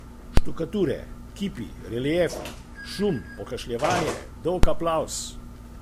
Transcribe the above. Štukature, kipi, reliefi, šum, pokašljevanje, dolg aplavz.